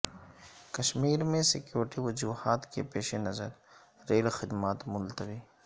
کشمیر میں سیکورٹی وجوہات کے پیش نظر ریل خدمات ملتوی